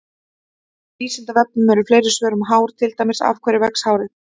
Á Vísindavefnum eru fleiri svör um hár, til dæmis: Af hverju vex hárið?